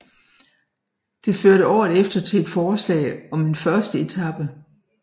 Det førte året efter til et forslag om en første etape